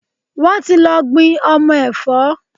Wọ́n ti lọ gbin ọmọ ẹ̀fọ́.